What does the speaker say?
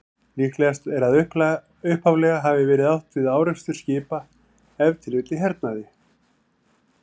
Líklegast er að upphaflega hafi verið átt við árekstur skipa, ef til vill í hernaði.